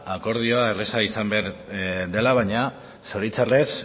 akordioa erreza izan behar dela baina zoritxarrez